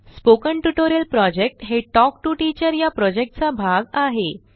spoken tutorial project हे talk to teacher या प्रॉजेक्टचा भाग आहे